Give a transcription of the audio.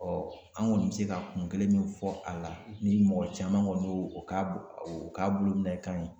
an kɔni bɛ se ka kun kelen min fɔ a la ni mɔgɔ caman kɔni y'o o k'a bolo minɛ kan